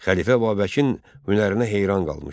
Xəlifə Babəkin hünərinə heyran qalmışdı.